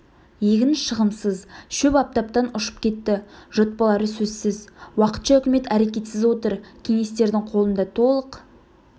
егін шығымсыз шөп аптаптан ұшып кетті жұт болары сөзсіз уақытша үкімет әрекетсіз отыр кеңестердің қолында толық